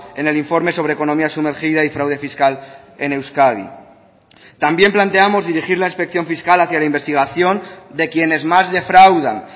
en el informe sobre economía sumergida y fraude fiscal en euskadi también planteamos dirigir la inspección fiscal hacía la investigación de quienes más defraudan